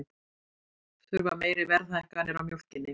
Þurfa meiri verðhækkanir á mjólkinni